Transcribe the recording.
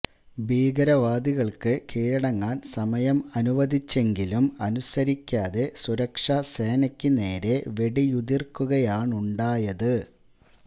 ഭീകരവാദികള്ക്ക് കീഴടങ്ങാന് സമയം അനുവദിച്ചെങ്കിലും അനുസരിക്കാതെ സുരക്ഷാ സേനക്ക് നേരെ വെടിയുതിര്ക്കുകയാണുണ്ടായത്